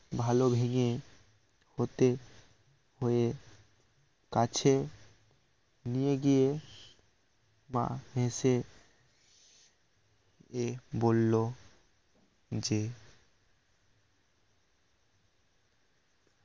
ভালো ভেঙ্গে ওতে হয়ে কাছে নিয়ে গিয়ে মা হেসে এ বলল যে